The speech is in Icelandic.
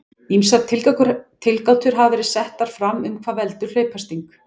Ýmsar tilgátur hafa verið settar fram um hvað veldur hlaupasting.